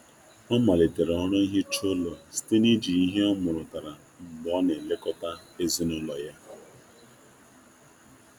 Ọ malitere ọrụ ọrụ nhicha ụlọ site na iji ihe ọmụrụtara mgbe ọ na-elekọta ezinụlọ ya.